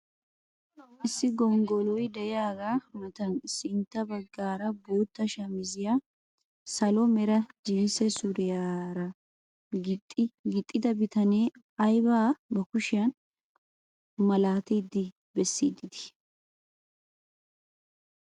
Issi gonggoloy de'iyaagaa matan sintta baggaara bootta shamisiyaa salo mera jinsse suriyaa gixxida bitanee aybaa ba kushiyaan malatidi bessiidi de'ii?